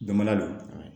Damala don